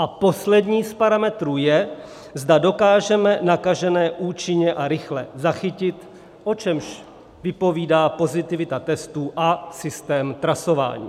A poslední z parametrů je, zda dokážeme nakažené účinně a rychle zachytit, o čemž vypovídá pozitivita testů a systém trasování.